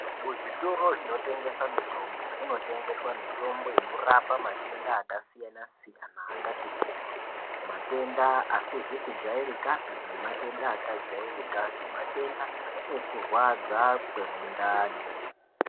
Muzvitoro zvinotengese mitombo kunotengeswe mitombo inorapa matenda akasiyanasiyana akati kuti matenda asizikujairikapi nematenda akajairika sematenda ekurwadza kwemundani.